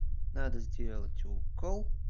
надо сделать укол